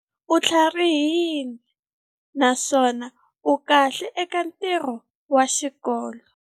U tlharihile naswona u kahle eka ntirho wa xikolo.